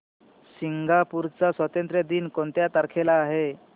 Singapore चा स्वातंत्र्य दिन कोणत्या तारखेला आहे